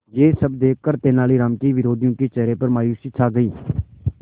यह सब देखकर तेनालीराम के विरोधियों के चेहरे पर मायूसी छा गई